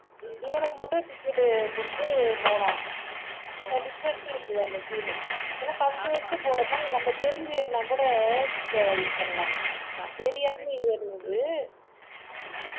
இவனுக்கு மட்டும் ticket கொடுத்து போனோம் different ஆ இருந்துது அந்த feel உ ஏன்னா first first போறோமா நம்ம தெரிஞ்சு ஏறுனாக்கூட அஹ் இது பண்ணலாம் தெரியாம ஏறுனது